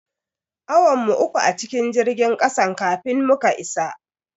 Awan mu uku a cikin jirgin kasan kafin muka isa.